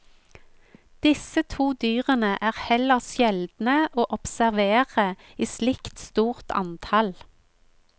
Disse to dyrene er heller sjeldne å observere i slikt stort antall.